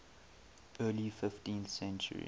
early fifteenth century